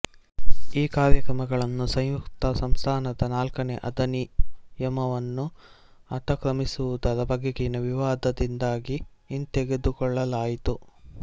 ಈ ಕಾರ್ಯಕ್ರಮಗಳನ್ನು ಸಂಯುಕ್ತ ಸಂಸ್ಥಾನದ ನಾಲ್ಕನೇ ಅಧಿನಿಯಮವನ್ನು ಅತಿಕ್ರಮಿಸುವದರ ಬಗೆಗಿನ ವಿವಾದದಿಂದಾಗಿ ಹಿಂತೆಗೆದುಕೊಳ್ಳಲಾಯಿತು